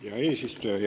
Hea eesistuja!